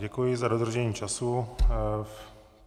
Děkuji za dodržení času.